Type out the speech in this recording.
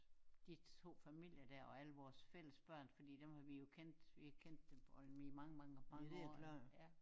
De 2 familier dér og alle vores fællesbørn fordi dem har vi jo kendt vi har kendt dem i mange mange mange år nu ja